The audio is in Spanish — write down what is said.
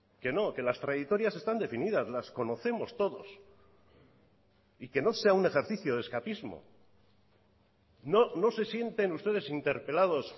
que no que las trayectorias están definidas las conocemos todos y que no sea un ejercicio de escapismo no se sienten ustedes interpelados